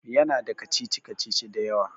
Ya na da kacici-kacici da yawa